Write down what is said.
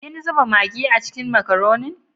Kin zuba magi a cikin makaronin?